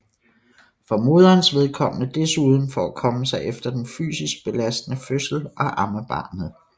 For moderens vedkommende desuden for at komme sig efter den fysisk belastende fødsel og amme barnet